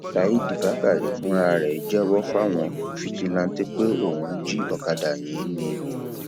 saheed bákàrẹ fúnra ẹ jẹwọ fáwọn fijilantàntẹ pé òun jí ọkadà yìí ni